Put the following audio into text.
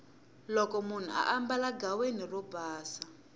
loko munhu ambala ghaweni ro pasa